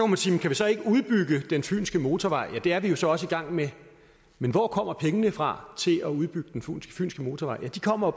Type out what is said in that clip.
man sige kan vi så ikke udbygge den fynske motorvej ja det er vi jo så også i gang med men hvor kommer pengene fra til at udbygge den fynske motorvej ja de kommer